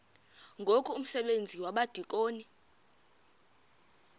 ngoku umsebenzi wabadikoni